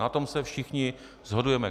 Na tom se všichni shodujeme.